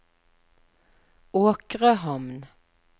Åkrehamn